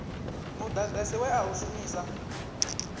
mudagasi we a u shumisa